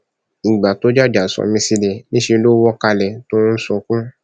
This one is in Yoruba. ìgbà tó jàjà sọ mí sílẹ níṣẹ ló wọ kalẹ tó ń sunkún